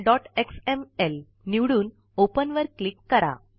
englishktouchएक्सएमएल निवडून ओपन वर क्लिक करा